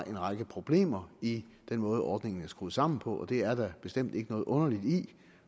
en række problemer i den måde ordningen er skruet sammen på det er der bestemt ikke noget underligt i